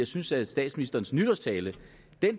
synes at statsministerens nytårstale